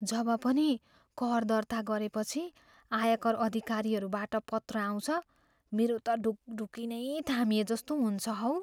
जब पनि कर दर्ता गरेपछि आयकर अधिकारीहरूबाट पत्र आउँछ, मेरो त ढुकढुकी नै थामिएजस्तो हुन्छ हौ।